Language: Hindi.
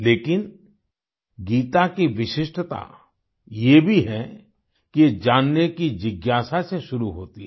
लेकिन गीता की विशिष्टता ये भी है कि ये जानने की जिज्ञासा से शुरू होती है